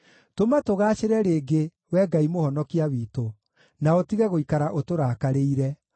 Tũma tũgaacĩre rĩngĩ, Wee Ngai Mũhonokia witũ, na ũtige gũikara ũtũrakarĩire.